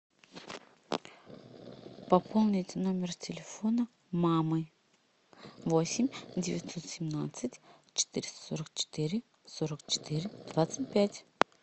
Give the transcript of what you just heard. пополнить номер телефона мамы восемь девятьсот семнадцать четыреста сорок четыре сорок четыре двадцать пять